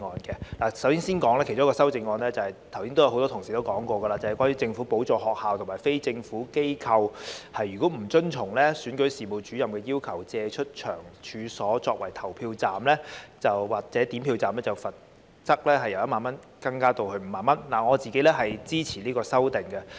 其中一項修正案——剛才很多同事也提過了——是關於政府補助學校及非政府機構如果不遵從總選舉事務主任的要求，借出其處所作為投票站或點票站，罰款會由1萬元增加至5萬元，我對此表示支持。